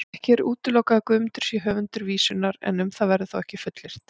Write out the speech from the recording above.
Ekki er útilokað að Guðmundur sé höfundur vísunnar, en um það verður þó ekkert fullyrt.